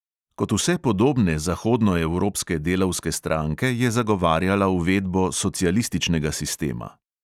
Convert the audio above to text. Kot vse podobne zahodnoevropske delavske stranke je zagovarjala uvedbo socialističnega sistema.